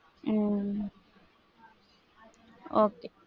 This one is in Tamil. உம் okay.